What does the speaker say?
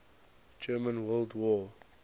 german world war